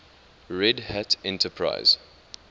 red hat enterprise